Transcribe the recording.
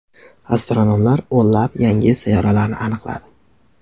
Astronomlar o‘nlab yangi sayyoralarni aniqladi.